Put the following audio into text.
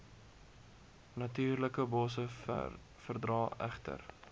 natuurlikebosse verdra egter